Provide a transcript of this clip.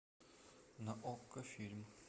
на окко фильм